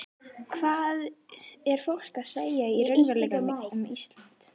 Hvað er fólk að segja í raunveruleikanum um Ísland?